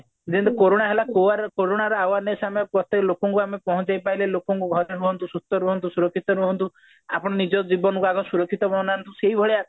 ଯେମତି କୋରଣା ହେଲା କୋରଣା ର awareness ଆମେ ପ୍ରତ୍ୟକ ଲୋକଙ୍କଉ ଆମେ ପହଞ୍ଚେଇ ପାରିଲେ ଲୋକଙ୍କୁ ଘରେ ରୁହନ୍ତୁ ସୁସ୍ଥ ରୁହନ୍ତୁ ସୁରକ୍ଷିତ ରୁହନ୍ତୁ ଆପଣ ନିଜ ଜୀବନକୁ ଆଗେ ସୁରକ୍ଷିତ ବନାନ୍ତୁ ସେଇଭଳିଆ